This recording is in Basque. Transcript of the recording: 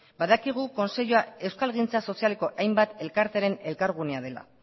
badakigu kontseilua euskalgintza sozialeko hainbat elkarteren elkargunea dela